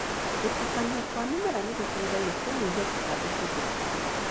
Gũtukania kwa mĩmera nĩgũteithagia kũnyihia tũtambi tũthukia.